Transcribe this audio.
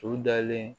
U dalen